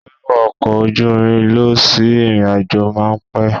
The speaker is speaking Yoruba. Wíwọ ọkọ̀ ojú irin lọ sí ìrìnàjò máa pẹ́.